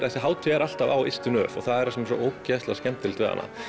þessi hátíð er alltaf á ystu nöf og það er það sem er svo ógeðslega skemmtilegt við hana